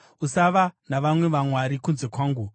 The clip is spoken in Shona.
“Usava navamwe vamwari kunze kwangu.